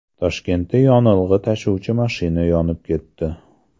Toshkentda yonilg‘i tashuvchi mashina yonib ketdi .